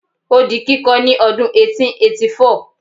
o di kiko ni odun eighteen eighty four